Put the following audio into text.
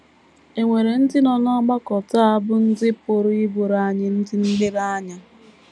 È nwere ndị nọ n’ọgbakọ taa bụ́ ndị pụrụ ịbụrụ anyị ndị nlereanya?